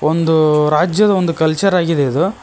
ಒಂದು ರಾಜ್ಯದ ಒಂದು ಕಲ್ಚರ್ ಆಗಿದೆ ಇದು.